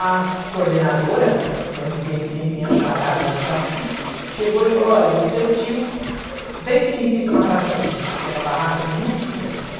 A coordenadora, coincidentemente minha chará, Dona Jaci, chegou e falou, olha, o seu tio definitivo na Praça Doce, porque é uma barraca de muitos sucessos.